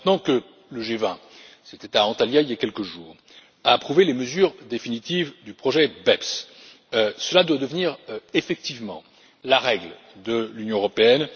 Maintenant que le G20 qui s'est tenu à Antalya, il y a quelques jours a approuvé les mesures définitives du projet BEPS, cela doit devenir effectivement la règle de l'Union européenne.